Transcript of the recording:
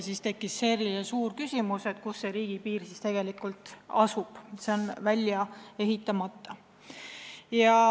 Siis tekkis suur küsimus, kus see riigipiir tegelikult asub, sest see on välja ehitamata.